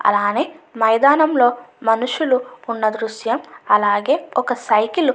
అలాగే మైదానంలోని మనుషులు ఉన్న దృశ్యం అలాగే ఒక సైకిల్ ఉన్న దృశ్యం--